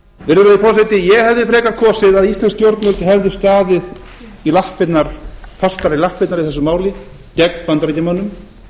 virðulegi forseti ég hefði frekar kosið að íslensk stjórnvöld hefðu staðið fastar í lappirnar í þessu máli gegn bandaríkjamönnum